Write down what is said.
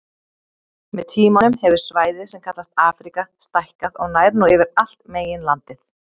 Með tímanum hefur svæðið sem kallast Afríka stækkað og nær nú yfir allt meginlandið.